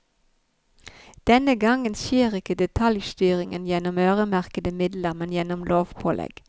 Denne gangen skjer ikke detaljstyringen gjennom øremerkede midler, men gjennom lovpålegg.